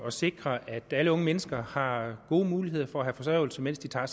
at sikre at alle unge mennesker har gode muligheder for at få forsørgelse mens de tager